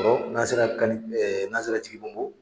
an sera kal n'an sera Jigibongo